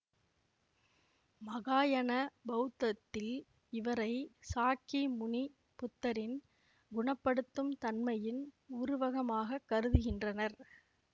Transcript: மகாயன பௌத்தத்தில் இவரை சாக்கிமுனி புத்தரின் குணப்படுத்தும் தன்மையின் உருவகமாகக் கருதுகின்றனர்